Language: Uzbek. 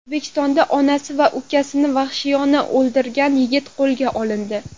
O‘zbekistonda onasi va ukasini vahshiyona o‘ldirgan yigit qo‘lga olindi .